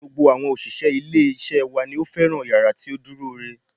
Gbogbo àwọn òṣìṣẹ́ ilé isé wa ni ó fẹ́ràn yàrá isé tí ó dúró re